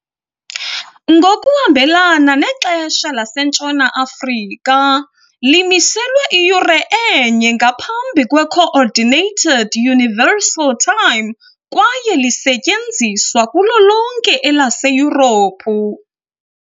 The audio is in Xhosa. Ngokuhambelana neXesha laseNtshona Afrika, limiselwe iyure enye ngaphambi kweCoordinated Universal Time kwaye lisetyenziswa kulo lonke elaseYurophu.